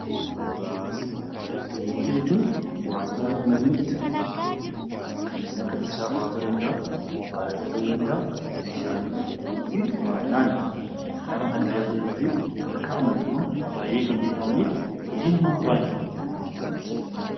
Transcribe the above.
Elektirooniksii Elektirooniksii jechuun wantoota namni itti fayyadamu kanneen akka ibsaafaa ta'uu danda'a; mobaayilii ta'uu danda'a. Meeshaaleen elektirooniksii baay'inaan nama kan tajaajilanii fi sadarkaa ammayyummaatti baay'ee kan beekamanii fi hojii namaa baay'inaan kan namaaf salphisanii dha.